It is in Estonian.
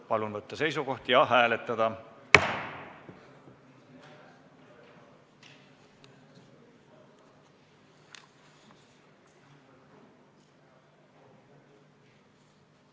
Palun võtta seisukoht ja hääletada!